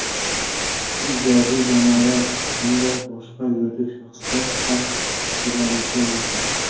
ijodiy jamoalar hamda boshqa yuridik shaxslar ham taqdirlanishi mumkin.